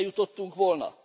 Ide jutottunk volna?